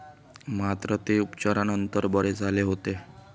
मात्र, ते उपचारानंतर बरे झाले होते.